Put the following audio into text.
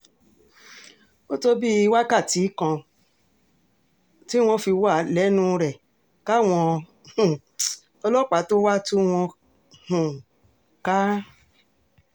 ó tó bíi wákàtí kan tí wọ́n fi wà lẹ́nu rẹ káwọn um ọlọ́pàá tóo wáá tú wọn um ká